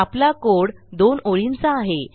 आपला कोड दोन ओळींचा आहे